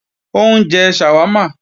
Ó ń jẹ ṣàwámà